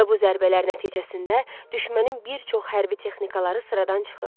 Və bu zərbələr nəticəsində düşmənin bir çox hərbi texnikaları sıradan çıxıb.